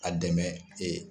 A dɛmɛ